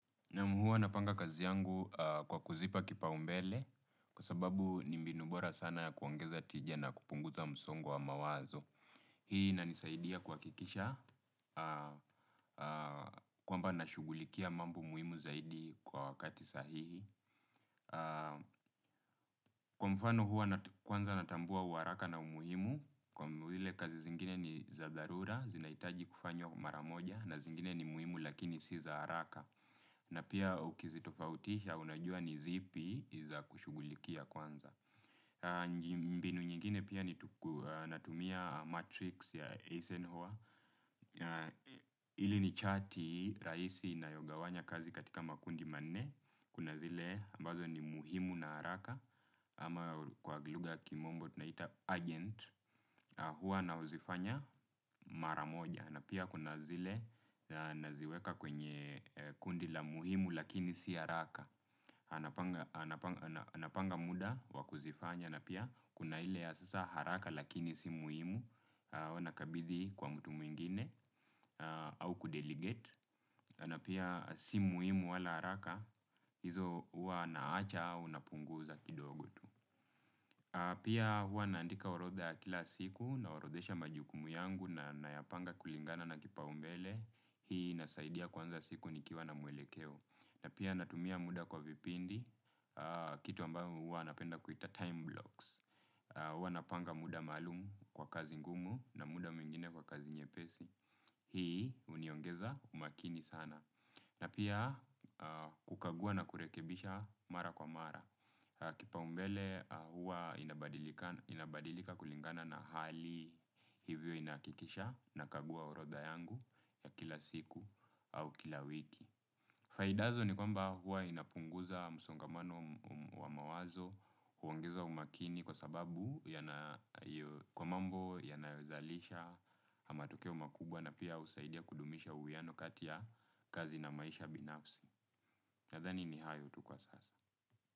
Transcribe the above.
Naam hua napanga kazi yangu kwa kuzipa kipaumbele kwa sababu ni mbinu bora sana kuongeza tija na kupunguza msongo wa mawazo. Hii inanisaidia kuhakikisha kwamba nashughulikia mambo muhimu zaidi kwa wakati sahihi. Kwa mfano hua kwanza natambua uharaka na umuhimu kwangu vile kazi zingine ni za dharura, zinaitaji kufanywa mara moja na zingine ni muhimu lakini si za haraka. Na pia ukizitofautisha unajua ni zipi za kushughulikia kwanza mbinu nyingine pia ni natumia matrix ya Eisenhower hili ni chati rahisi inayogawanya kazi katika makundi manne kuna zile ambazo ni muhimu na haraka. Ama kwa lugha ya kimombo tunaita urgent. Hua na huzifanya mara moja na pia kuna zile naziweka kwenye kundi la muhimu lakini si haraka napanga muda wa kuzifanya na pia kuna ile ya sasa haraka lakini si muhimu hua nakabidhi kwa mtu mwingine au kudelegate. Na pia si muhimu wala haraka hizo hua naacha au napunguza kidogu tu. Pia hua naandika orodha ya kila siku naorodhesha majukumu yangu na nayapanga kulingana na kipaumbele. Hii inasaidia kuanza siku nikiwa na muelekeo. Na pia natumia muda kwa vipindi. Kitu amba huwa napenda kuita time blocks. Huwa napanga muda maalumu kwa kazi ngumu. Na muda mwingine kwa kazi nyepesi. Hii huniongeza umakini sana na pia kukagua na kurekebisha mara kwa mara, kipaumbele huwa inabadilika kulingana na hali. Hivyo inahakikisha nakagua orodha yangu ya kila siku au kila wiki. Faidazo ni kwamba huwa inapunguza msongamano wa mawazo huongeza umakini kwa sababu kwa mambo yanayozalisha matokeo makubwa na pia husaidia kudumisha uwiano kati ya kazi na maisha binafsi. Nadhani ni hayo tu kwa sasa.